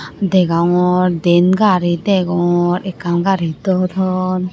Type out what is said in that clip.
degongor diyen gari degong ekkan gari dodon.